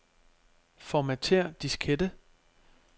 Formatér diskette.